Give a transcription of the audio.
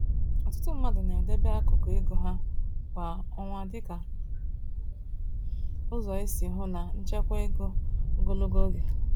Ọtụtụ mmadụ na-edebe akụkụ ego ha kwa ọnwa dịka ụzọ isi hụ na nchekwa ego ogologo oge.